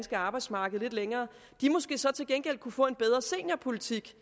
arbejdsmarked lidt længere så til gengæld måske kunne få en bedre seniorpolitik